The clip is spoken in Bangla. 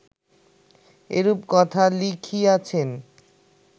এরূপ কথা লিখিয়াছেন